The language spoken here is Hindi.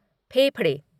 फेफड़े